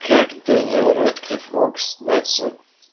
как дэниэл рэдклифф мог снятся в